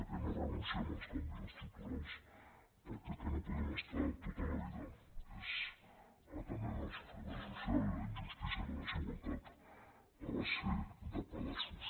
que no renunciem als canvis estructurals perquè el que no podem estar tota la vida és atenent el sofriment social la injustícia i la desigualtat a base de pedaços